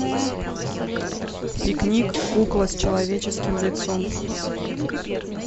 пикник кукла с человеческим лицом